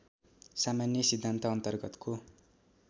सामान्य सिद्धान्त अन्तर्गतको